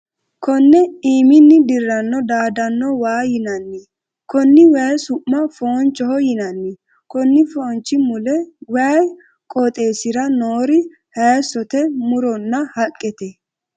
Konne iiminni dirano daadano waa yinnanni. Konni wayi su'ma foonchoho yinnanni. Konni foonchi mule woyi qooxeesira noori hayisote muronna haaqete.